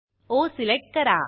ओ select करा